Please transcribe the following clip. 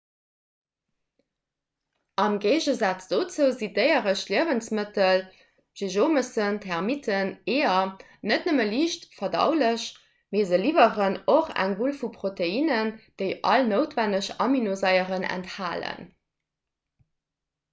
am géigesaz dozou sinn déieresch liewensmëttel seejomessen termitten eeër net nëmme liicht verdaulech mee se liwweren och eng wull vu proteinnen déi all noutwenneg aminosaieren enthalen